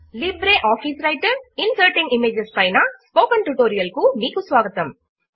Libre office Writer inserting images పైన spoken tutorial కు మీకు స్వాగతము